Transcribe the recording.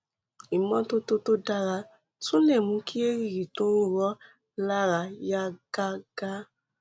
ìmọtótó tó dára tún lè mú kí èrìgì tó ń ro ọ lára yá gágá